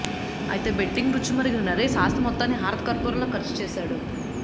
అయితే బెట్టింగ్ రుచి మరిగిన నరేశ్ ఆస్తి మొత్తాన్ని హారతి కర్పూరంలా ఖర్చు చేసేశాడు